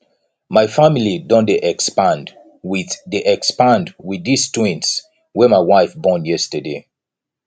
my family don dey expand wit dey expand wit dese twins wey my wife born yesterday